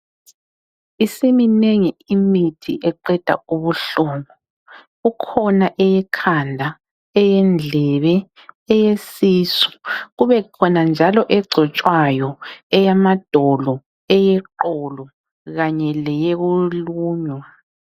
Isiminengi imithi eqeda ubuhlungu. Kukhona eyekhanda, eyendlebe, eyesisu, kubekhona njalo egcotshwayo eyamadolo, eyeqolo kanye leyokulunywa.